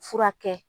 Furakɛ